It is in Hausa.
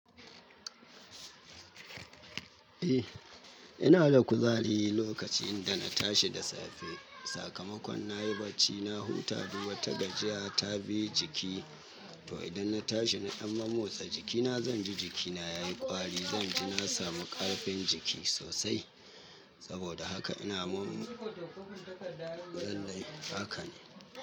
Eh, ina da kuzari lokaci inda na tashi da safe. Sakamakon na yi barci, na huta duk wata gajiya ta bi jiki. To idan na tashi na ɗan mammotsa jikina, zan ji jikina ya yi ƙwari, zan ji na samu ƙarfin jiki sosai. Saboda haka ina mum-- zai zai haka ne.